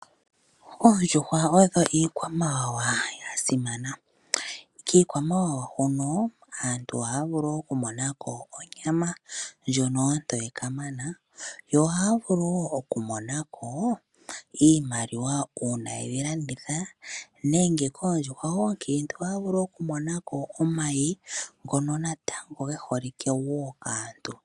Oondjuhwa odho iikwamawawa ya simana. Kiikwamawawa hono aantu ohaya vulu okumona ko onyama ndjono ontoye kamana, yo ohaya vulu woo okumona ko iimaliwa uuna yedhi landitha. Nenge koondjuhwa oonkiintu ohaya vulu okumona ko omayi ngono natango ge holike wo kaantu.